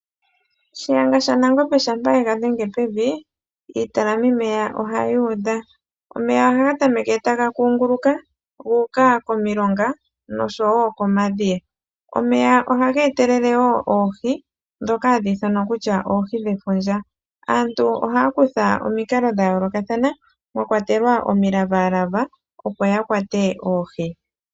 Shiyenga sha Nangombe shampa ye ga dhenge pevi iitalamimeya ohayi udha . omeya ohaga tameke taga kunguluka gu uka komilonga noshowo komadhiya. Omeya ohaga etelele woo oohi ndhoka hadhi ithanwa kutya oohi dhefundja. aantu ohaya kutha omikalo dha yoolokathana mwakwatelwa omilavaalava opo ya kwate oohi.